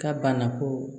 Ka banako